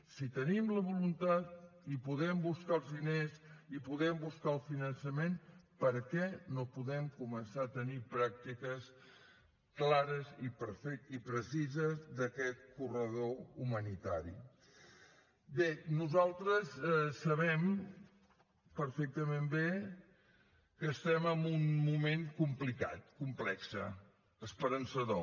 si tenim la voluntat i podem buscar els diners i podem buscar el finançament per què no podem començar a tenir pràctiques clares i precises d’aquest corredor humanitari bé nosaltres sabem perfectament bé que estem en un moment complicat complex esperançador